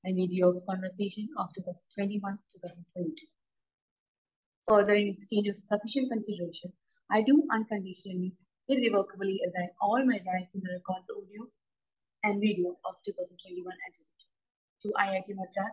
conversation of I do unconditionally, irrevocably assign all my rights audio and video to IIT Madras